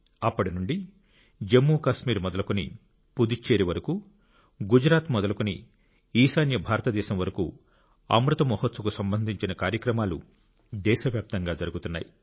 అప్పటి నుండి జమ్మూ కాశ్మీర్ మొదలుకొని పుదుచ్చేరి వరకు గుజరాత్ మొదలుకొని ఈశాన్య భారతదేశం వరకు అమృత్ మహోత్సవ్ కు సంబంధించిన కార్యక్రమాలు దేశవ్యాప్తంగా జరుగుతున్నాయి